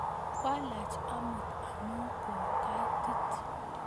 Kwalach amut amu ko kaitit